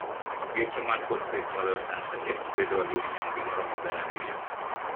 Geche man kod pek maloyo tans adek bedo ga minyonge maromo gana ariyo